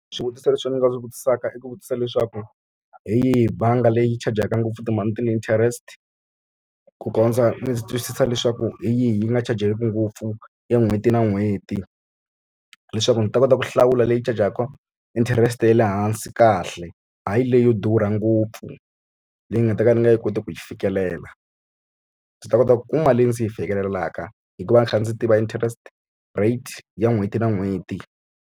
Swivutiso leswi ndzi nga swi vutisaka i ku vutisa leswaku, hi yihi bangi leyi yi chajaka ngopfu ti-monthly interest. Ku kondza ndzi twisisa leswaku hi yihi yi nga charge-iki ngopfu ya n'hweti na n'hweti. Leswaku ndzi ta kota ku hlawula leyi charge-aka interest ya le hansi kahle, hayi leyo durha ngopfu leyi ni nga ta ka ni nga yi koti ku yi fikelela. Ndzi ta kota ku kuma leyi ndzi yi fikelelaka hi ku va ndzi kha ndzi tiva interest rate ya n'hweti na n'hweti.